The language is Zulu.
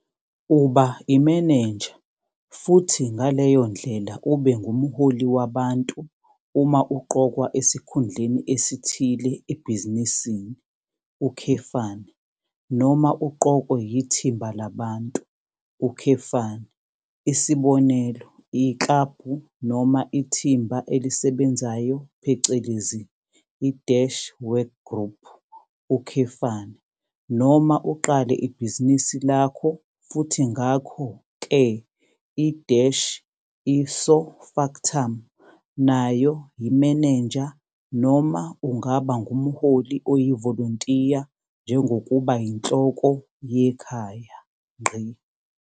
Uba imenenja futhi ngaleyo ndlela ube ngumholi wabantu uma uqokwa esikhundleni esithile ebhizinisini, noma uqokwe yithimba labantu, isibonelo iklabhu noma ithimba elisebenzeyo phecelezi i-workgroup, noma uqale ibhizinisi lakho futhi ngakho ke i-ipso factum nayo yimenenja noma ungaba ngumholi oyivolontiya njengokuba yinhloko yekhaya.